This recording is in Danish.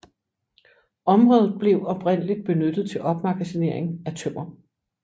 Området blev oprindeligt benyttet til opmagasinering af tømmer